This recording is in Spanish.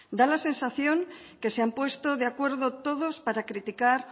da la sensación que se han puesto de acuerdo todos para criticar